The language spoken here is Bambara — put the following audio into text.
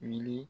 Wuli